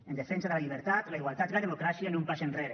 en defensa de la llibertat la igualtat i la democràcia ni un pas enrere